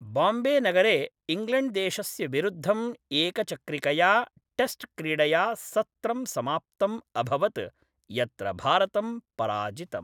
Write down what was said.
बाम्बेनगरे इङ्ग्लेण्ड्देशस्य विरुद्धं एकचक्रिकया टेस्ट्क्रीडया सत्रं समाप्तम् अभवत्, यत्र भारतं पराजितम्।